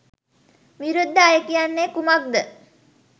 විරුද්ධ අය කියන්නේ කුමක්ද?